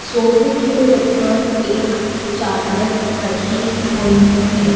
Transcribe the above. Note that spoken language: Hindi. सोफे के ऊपर एक चादर रखी हुई है।